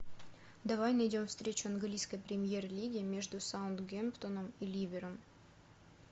давай найдем встречу английской премьер лиги между саутгемптоном и ливером